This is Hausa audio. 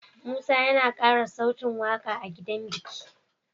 Musa yAna kara sautin waƙa a gidan biki